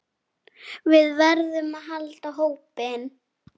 Við verðum að halda hópinn!